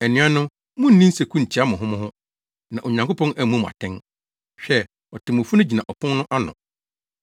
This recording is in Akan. Anuanom, munnni nseku ntia mo ho mo ho, na Onyankopɔn ammu mo atɛn. Hwɛ, Otemmufo no gyina ɔpon no ano.